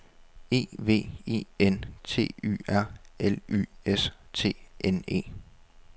E V E N T Y R L Y S T N E